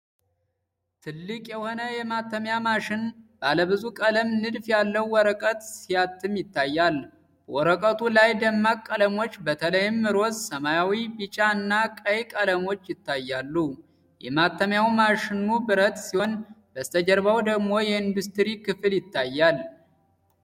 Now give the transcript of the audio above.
ትልቅ የሆነ የማተሚያ ማሽን ባለብዙ ቀለም ንድፍ ያለው ወረቀት ሲያትም ይታያል። በወረቀቱ ላይ ደማቅ ቀለሞች፣ በተለይም ሮዝ፣ ሰማያዊ፣ ቢጫ እና ቀይ ቀለሞች ይታያሉ። የማተሚያው ማሽኑ ብረት ሲሆን፣ በስተጀርባው ደግሞ የኢንዱስትሪ ክፍል ይታያል።